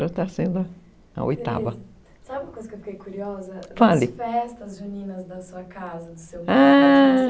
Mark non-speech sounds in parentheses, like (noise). (unintelligible) sabe uma coisa que eu fiquei curiosa? fale. As festas juninas m em sua casa, ah...